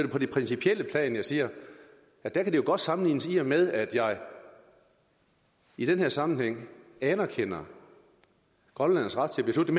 på det principielle plan jeg siger at det godt kan sammenlignes i og med at jeg i den her sammenhæng anerkender grønlændernes ret til at beslutte